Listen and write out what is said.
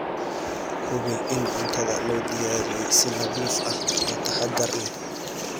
Hubi in cuntada loo diyaariyey si nadiif ah oo taxadar leh.